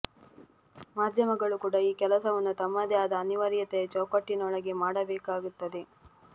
ಮಾಧ್ಯಮಗಳು ಕೂಡ ಈ ಕೆಲಸವನ್ನು ತಮ್ಮದೇ ಆದ ಅನಿವಾರ್ಯತೆಯ ಚೌಕಟ್ಟಿನೊಳಗೆ ಮಾಡಬೇಕಾಗುತ್ತದೆ